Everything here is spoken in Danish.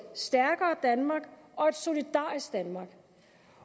stærkere danmark og et solidarisk danmark